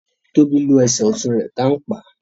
Tóbi ló Ẹsẹ̀ ọtún rè tán pá